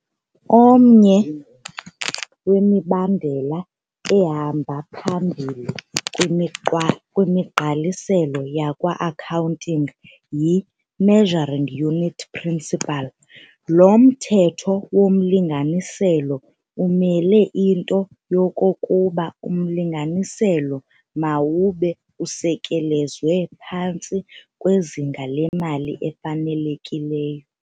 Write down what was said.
Omnye wemibandela ehamba phambili kwimiqa kwimigqaliselo yakwa-Accounting yi"-Measuring Unit Principle. lo mthetho womlinganiselo umela into yokokuba umlinganiselo mawube usekelezelwe phantsi kwezinga lemali elifanelekileyo.